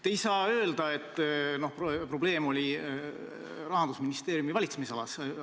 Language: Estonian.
Te ei saa öelda, et probleem oli Rahandusministeeriumi valitsemisalas.